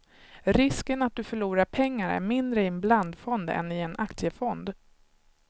Risken att du förlorar pengar är mindre i en blandfond än i en aktiefond.